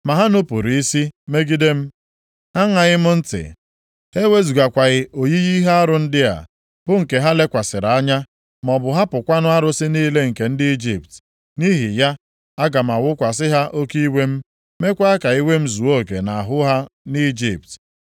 “ ‘Ma ha nupuru isi megide m. Ha aṅaghị m ntị. Ha ewezugakwaghị oyiyi ihe arụ ndị a, bụ nke ha lekwasịrị anya, maọbụ hapụkwanụ arụsị niile nke ndị Ijipt. Nʼihi ya, aga m awụkwasị ha oke iwe m, meekwa ka iwe m zuo oke nʼahụ ha nʼIjipt.